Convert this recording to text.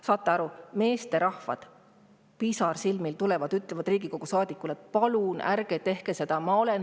Saate aru, meesterahvad tulevad pisarsilmil ja ütlevad Riigikogu saadikule: "Palun ärge tehke seda!